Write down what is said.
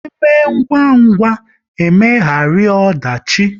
Eme ngwa ngwa, e megharu ọdachi